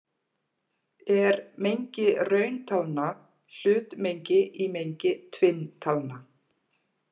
Er mengi rauntalna hlutmengi í mengi tvinntalna?